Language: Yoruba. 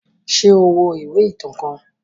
Ṣe o wo iwe itan kan?